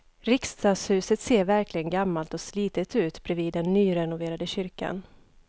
Riksdagshuset ser verkligen gammalt och slitet ut bredvid den nyrenoverade kyrkan.